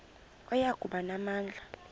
oya kuba namandla